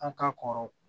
An ka kɔrɔ